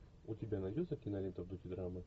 у тебя найдется кинолента в духе драмы